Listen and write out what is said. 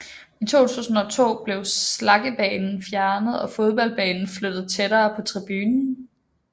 I 2002 blev slaggebanen fjernet og fodboldbanen flyttet tættere på tribunen